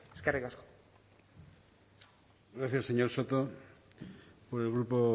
eskerrik asko gracias señor soto por el grupo